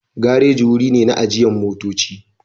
Gareji wuri ne na ajiyan motocci.